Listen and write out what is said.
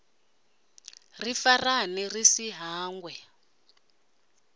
ri farane ri si hangwe